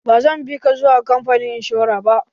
Ba zan bi ka zuwa kamfanin inshora ba.